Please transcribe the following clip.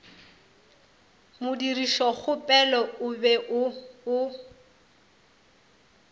modirišokgopelo o be o o